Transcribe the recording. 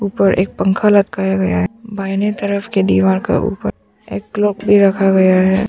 ऊपर एक पंखा लटकाया गया है बाहिनें तरफ के दीवार का ऊपर एक क्लॉक भी रखा गया है।